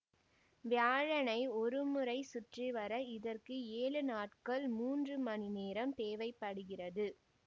வியாழனை ஒருமுறை சுற்றிவர இதற்கு ஏழு நாட்கள் மூன்று மணி நேரம் தேவை படுகிறது